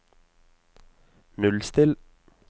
nullstill